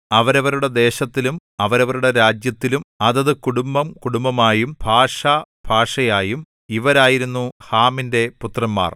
അവരവരുടെ ദേശത്തിലും അവരവരുടെ രാജ്യത്തിലും അതത് കുടുംബംകുടുംബമായും ഭാഷഭാഷയായും ഇവരായിരുന്നു ഹാമിന്‍റെ പുത്രന്മാർ